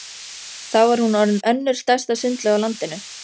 Þá var hún orðin önnur stærsta sundlaug á landinu.